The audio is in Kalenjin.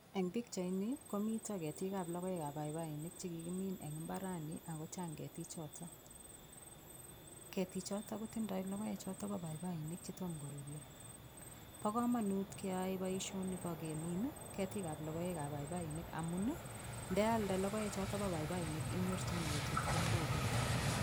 Eng' pikchaini komito ketikab logoekab paipainik chekikimin eng' imbarani akochang' ketichoto ketichoto kotindoi lokoechoto bo paipainik chetomo korurio bo komonut keyoei boishoni bo kemin ketikab logoekab paipainik amun ndealde lokoechoto bo paipainik inyorchigei chepkondokuk